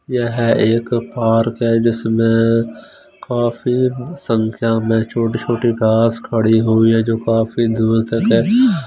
यह एक पार्क है जिसमें काफी संख्या में छोटी छोटी घास खड़ी हुई है जो काफी दूर तक--